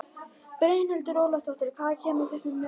Brynhildur Ólafsdóttir: Hvaðan kemur þessi mengun?